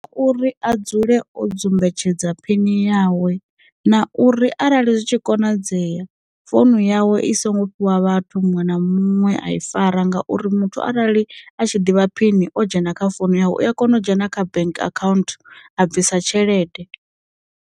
Uri a dzule o dzumbetshedza phini yawe, na uri arali zwi tshi konadzea founu yawe i songo fhiwa vhathu muṅwe na muṅwe a i fara ngauri muthu arali a tshi ḓivha phini o dzhena kha founu yawe u a kona u dzhena kha bank account a bvisa tshelede.